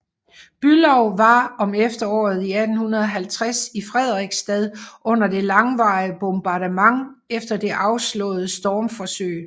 Bülow var om efteråret 1850 i Frederiksstad under det langvarige bombardement efter det afslåede stormforsøg